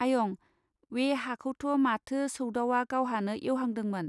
आयं वे हाखौथ माथो सौदावआ गावहानो एवहांदोंमोन.